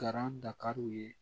Garan dakari u ye